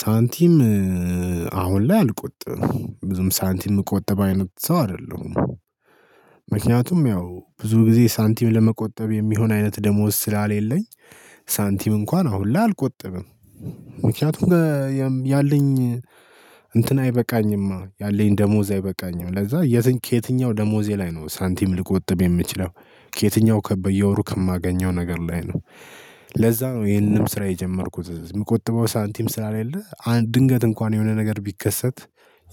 ሳንቲም አሁን ላይ አልቆጥብም ብዙም ሳንቲም የምቆጥብ አይነት ሰው አይደለሁም። ምክንያቱም ያው ብዙ ጊዜ ሳንቲም ለመቆጠብ የሚሆን አይነት ደሞዝ ስለሌለኝ። ሳንቲም እንኳን አሁን ላይ አልቆጥብም። ምክንያቱም ያለኝ እንትን አይበቃኝማ ያለኝ ደሞዝ አይበቃኝም ለዛ ከየትኛው ደሞዜ ላይ ነው ሳንቲም ሊቆጥብ የሚችለው ከየትኛው በየወሩ ከማገኘው ነገር ላይ ነው። ለዛ ነው ይሄንንም ስራ የጀመርኩት የምቆጥበው ሳንቲም ስለሌለ አንድ ድንገት እንኳን የሆነ ነገር ቢከሰት።